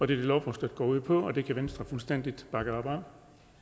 det lovforslaget går ud på og det kan venstre fuldstændig bakke op